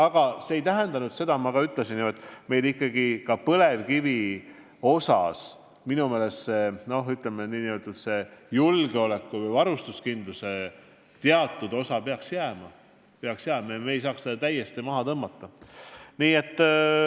Aga nagu ma ütlesin, meil ikkagi peaks varustuskindluse ja -julgeoleku tagamisel ka põlevkivile minu meelest teatud osa alles jääma, me ei saa seda täiesti maha tõmmata.